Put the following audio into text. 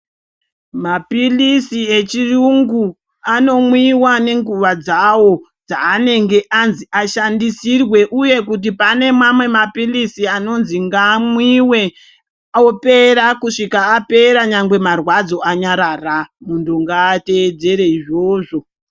Mapilizi echiyungu anomwiwa nenguwa dzawo, dzanenge anzi ashandisirwe uye kuti pane mamwe mapilizi anonzi ngaamwiwe opera kusvika apera nyangwe marwadzo anyarara, muntu ngaateedzere izvozvo.